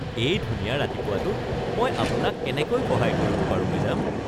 এই ধুনীয়া ৰাতিপুৱাটোত মই আপোনাক কেনেকৈ সহায় কৰিব পাৰোঁ, মেডাম? (জোতা বিক্ৰেতা)